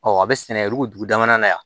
a bɛ sɛnɛ dugu dama na yan